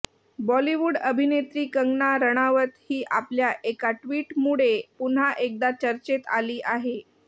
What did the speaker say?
बॉलीवूड अभिनेत्री कंगना राणावत ही आपल्या एका ट्विटमुळे पुन्हा एकदा चर्चेत आली आहे